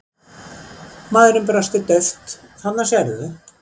Maðurinn brosti dauft:-Þarna sérðu.